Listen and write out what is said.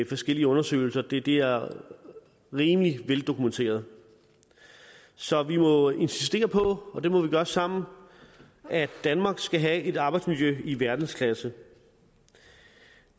forskellige undersøgelser det det er rimelig veldokumenteret så vi må insistere på og det må vi gøre sammen at danmark skal have et arbejdsmiljø i verdensklasse